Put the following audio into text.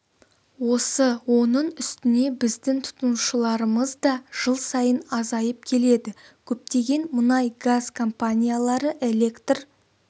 осы оның үстіне біздің тұтынушыларымыз да жыл сайын азайып келеді көптеген мұнай газ компаниялары электр